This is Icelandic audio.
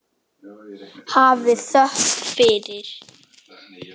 Hafið þökk fyrir.